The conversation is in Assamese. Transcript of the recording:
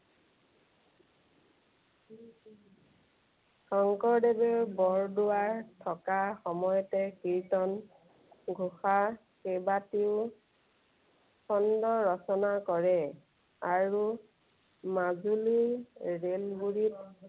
শঙ্কৰদেৱে বৰদোৱাৰত থকা সময়তে কীৰ্ত্তনঘোষা কেইবাটিও খণ্ড ৰচনা কৰে। আৰু মাজুলী ৰেলগুৰিত